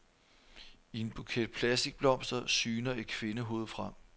I en buket plastikblomster syner et kvindehoved frem.